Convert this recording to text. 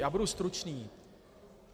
Já budu stručný.